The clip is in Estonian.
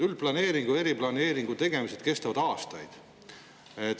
Üldplaneeringu ja eriplaneeringu tegemised kestavad aastaid.